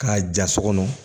K'a ja so kɔnɔ